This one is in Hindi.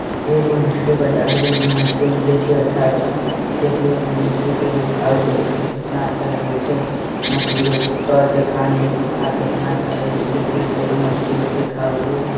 एक मछली बजारी इमे मछली मिले छे अच्छा-अच्छा दखिये ऐमे मछली कयो खाव के देखिये कितना अच्छा लगे छे मच्छी तय के खाने खानीर के खातिर कितना अच्छे लगे छे देखियो कईओ मछ्ली उछलि खावु को--